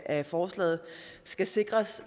af forslaget skal sikres